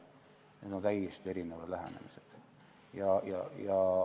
Need on täiesti erinevad lähenemised.